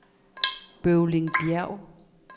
Bøvlingbjerg